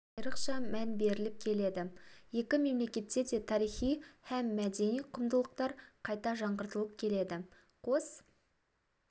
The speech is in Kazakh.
айрықша мән беріліп келеді екі мемлекетте де тарихи һәм мәдени құндылықтар қайта жаңғыртылып келеді қос